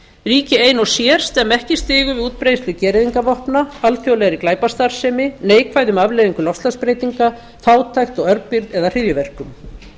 ríki ein og sér stemma ekki stigu við útbreiðslu gereyðingarvopna alþjóðlegri glæpastarfsemi neikvæðum afleiðingum loftslagsbreytinga fátækt og örbirgð eða hryðjuverkum